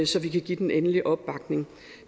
så vi kan give den endelige opbakning